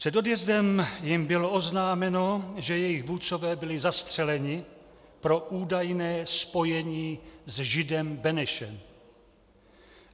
Před odjezdem jim bylo oznámeno, že jejich vůdcové byli zastřeleni pro údajné spojení s židem Benešem.